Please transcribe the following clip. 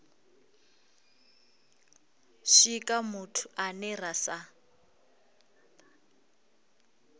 swika muthu ane ra sa